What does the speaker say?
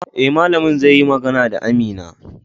Eh, malamin zai yi magana da Amina